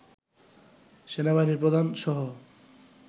সেনাবাহিনীর প্রধান সহ